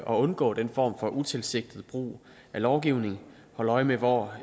og undgå den form for utilsigtet brug af lovgivning at holde øje med hvor